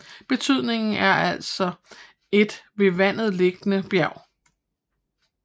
Betydningen er altså et ved vandet liggende bjerg